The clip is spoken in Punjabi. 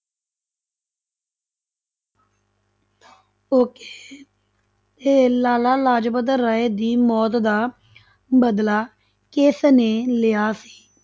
Okay ਤੇ ਲਾਲਾ ਲਾਜਪਤ ਰਾਏ ਦੀ ਮੌਤ ਦਾ ਬਦਲਾ ਕਿਸ ਨੇ ਲਿਆ ਸੀ?